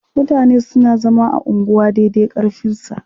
Mutane suna zama a unguwa dai dai ƙarfinsa.